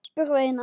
spurði Einar.